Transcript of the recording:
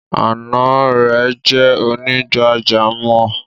Ànà rẹ̀ jẹ́ onígbàjàmọ́.